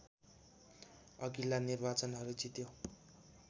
अघिल्ला निर्वाचनहरू जित्यो